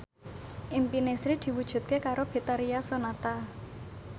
impine Sri diwujudke karo Betharia Sonata